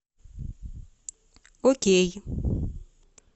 окей